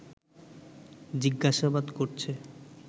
জিজ্ঞাসাবাদ করছে